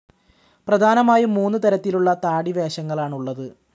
പ്രധാനമായും മൂന്ന് തരത്തിലുള്ള താടി വേഷങ്ങളാണുള്ളത്.